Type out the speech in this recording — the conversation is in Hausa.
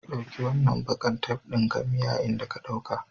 Ɗauki wannan bakar tef ɗin ka miya inda ka dauka.